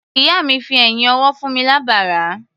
Ìyá mi fi ẹ̀yín ọwọ́ fún mi lábàrá.